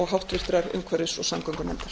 háttvirtrar umhverfis og samgöngunefndar